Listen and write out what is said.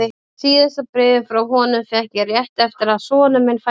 Síðasta bréfið frá honum fékk ég rétt eftir að sonur minn fæddist.